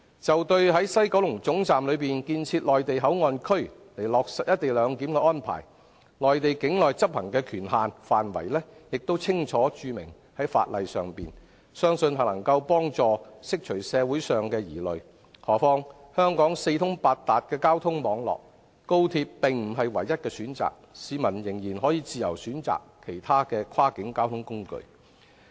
就在西九龍總站內建設內地口岸區以落實"一地兩檢"的安排，內地境內執行的權限範圍已清楚註明在法例上，相信能夠幫助釋除社會上的疑慮；何況，香港的交通網絡四通八達，高鐵並不是唯一的選擇，市民仍然可以自由選擇其他跨境交通工具。